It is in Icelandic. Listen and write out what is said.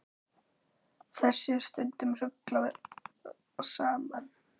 Þessu er stundum ruglað saman.